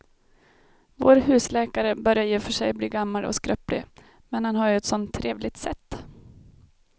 Vår husläkare börjar i och för sig bli gammal och skröplig, men han har ju ett sådant trevligt sätt!